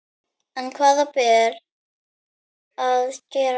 En hvað ber að gera?